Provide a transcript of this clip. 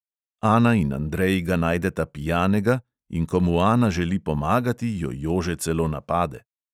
Ana in andrej ga najdeta pijanega in ko mu ana želi pomagati, jo jože celo napade.